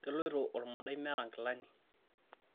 keloito olmodai meeta nkilani